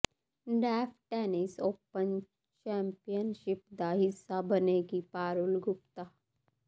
deaf tennis open championship ਦਾ ਹਿੱਸਾ ਬਣੇਗੀ ਪਾਰੁਲ ਗੁਪਤਾ